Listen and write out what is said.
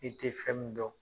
I tɛ fɛn min dɔn.